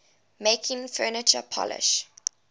making furniture polish